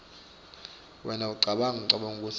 wena ucabanga kutsi